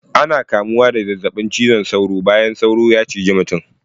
Ana kamuwa da zazzabin ciwon sauro bayan sauro ya ciji mutum.